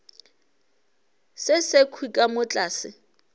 se sekhwi ka mo tlase